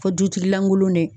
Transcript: Fo dutigi lankolon dɛ.